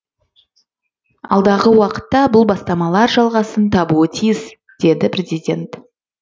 алдағы уақытта бұл бастамалар жалғасын табуы тиіс деді президент